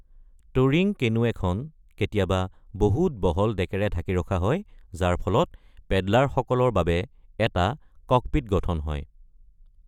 Turing canoe এখন কেতিয়াবা বহুত বহল ডেকেৰে ঢাকি ৰখা হয় যাৰ ফলত পেডলাৰসকলৰ বাবে এটা ‘ককপিট’ গঠন হয়।